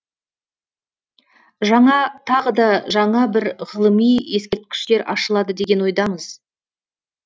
жаңа тағы да жаңа бір ғылыми ескерткіштер ашылады деген ойдамыз